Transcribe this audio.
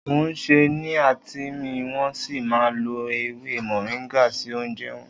Oùnsè ni àtìn ḿi, won si maà ń lò èwé moringa si ounjẹ won